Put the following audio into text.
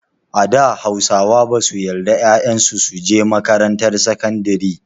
A da Hausawa basu yarda ƴaƴan su su je makarantar sakandari.